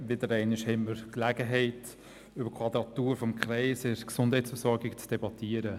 Wieder einmal haben wir Gelegenheit, über die Quadratur des Kreises in der Gesundheitsversorgung zu debattieren.